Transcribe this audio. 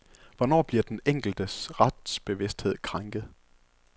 Hvornår bliver den enkeltes retsbevidsthed krænket?